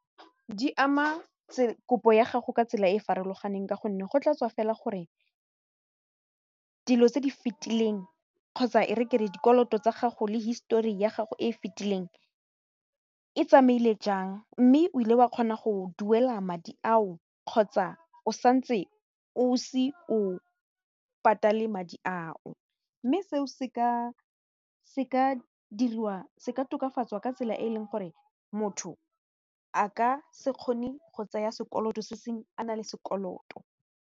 Di ama kopo ya gago ka tsela e e farologaneng ka gonne go tla tswa fela gore dilo tse di fetileng kgotsa e re ke re dikoloto tsa gago le histori ya gago e e fetileng e tsamaile jang mme o ile wa kgona go duela madi ao kgotsa o santse o se o patale madi ao mme se o se ka tokafatswa ka tsela e e leng gore motho a ka se kgone go tsaya sekoloto se sengwe a na le sekoloto.